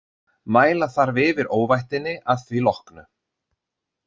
Mæla þarf yfir óvættinni að því loknu.